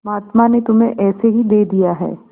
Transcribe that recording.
महात्मा ने तुम्हें ऐसे ही दे दिया है